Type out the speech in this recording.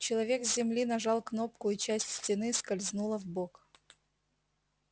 человек с земли нажал кнопку и часть стены скользнула вбок